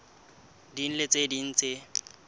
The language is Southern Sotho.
ding le tse ding tse